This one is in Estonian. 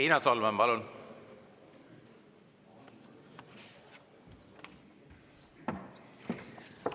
Riina Solman, palun!